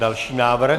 Další návrh.